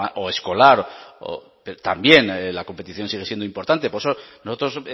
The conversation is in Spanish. o escolar también la competición sigue siendo importante por eso nosotros